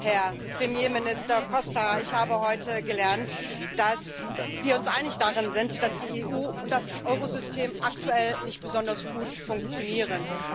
Herr Premierminister Costa, ich habe heute gelernt, dass wir uns einig darin sind, dass die EU und das Euro System aktuell nicht besonders gut funktionieren.